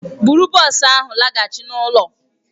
Bụrụ bọs ahụ laghachi n'ụlọ!